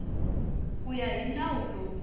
ku ya hi nawu lowu